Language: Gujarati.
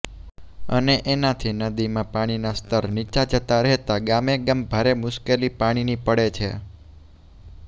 અને એનાથી નદીમાં પાણીના સ્તર નીચા જતા રહેતા ગામે ગામ ભારે મુશ્કેલી પાણીની પડે છે